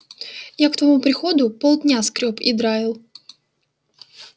я к твоему приходу полдня скрёб и драил